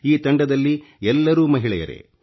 ಈ ತಂಡದಲ್ಲಿ ಎಲ್ಲರೂ ಮಹಿಳೆಯರೇ